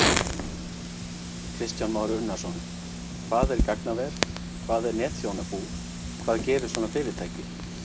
Kristján Már Unnarsson: Hvað er gagnaver, hvað er netþjónabú, hvað gerir svona fyrirtæki?